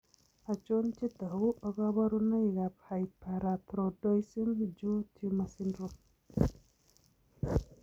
Achob chetogu ak kaborunoik ab Hyperparathroidism Jaw tumor syndrome?